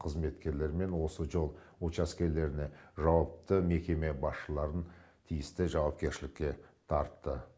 қызметкерлерімен осы жол учаскелеріне жауапты мекеме басшыларын тиісті жауапкершілікке тартты